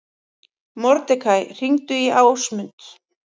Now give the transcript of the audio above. Mordekaí, hringdu í Ásmund.